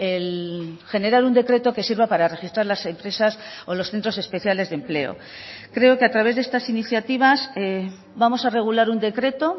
el generar un decreto que sirva para registrar las empresas o los centros especiales de empleo creo que a través de estas iniciativas vamos a regular un decreto